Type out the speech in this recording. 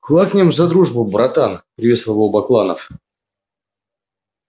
квакнем за дружбу братан приветствовал его бакланов